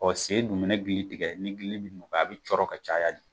Ɔ sen dun mana gili tigɛ ni gili bɛ a bɛ cɔrɔ ka caya de